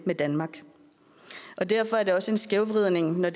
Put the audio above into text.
i danmark og derfor er det også en skævvridning når